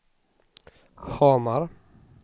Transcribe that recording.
Hamar